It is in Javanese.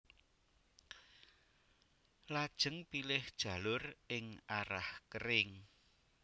Lajeng pilih jalur ing arah kering